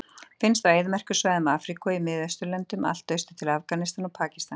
Finnst á eyðimerkursvæðum Afríku og í Miðausturlöndum allt austur til Afganistan og Pakistan.